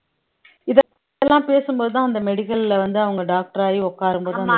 பேசும்போதுதான் அந்த medical ல வந்து அவங்க doctor ஆகி உட்காரும்போது அந்த